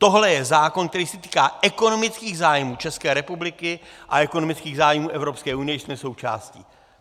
Tohle je zákon, který se týká ekonomických zájmů České republiky a ekonomických zájmů Evropské unie, jejíž jsme součástí.